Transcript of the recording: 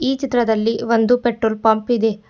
ಈ ಚಿತ್ರದಲ್ಲಿ ಒಂದು ಪೆಟ್ರೋಲ್ ಪಂಪ್ ಇದೆ.